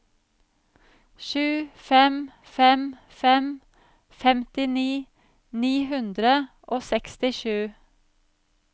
sju fem fem fem femtini ni hundre og sekstisju